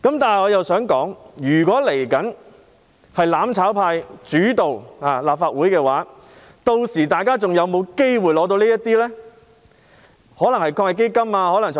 不過，我想說的是，如果日後由"攬炒派"主導立法會的話，屆時市民是否還有機會得到這些援助呢？